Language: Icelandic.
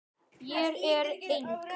Ég er eng